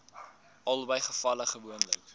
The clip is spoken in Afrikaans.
albei gevalle gewoonlik